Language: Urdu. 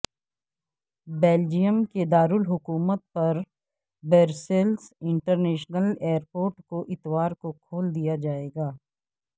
بیلجیم کے دارالحکومت برسلز انٹرنیشنل ایئر پورٹ کو اتوار کو کھول دیا جائے گا